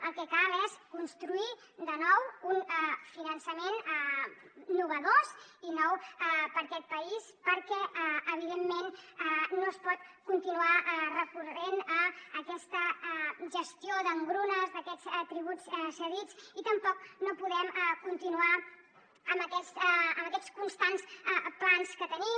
el que cal és construir de nou un finançament innovador i nou per a aquest país perquè evidentment no es pot continuar recorrent a aquesta gestió d’engrunes d’aquests tributs cedits i tampoc no podem continuar amb aquests constants plans que tenim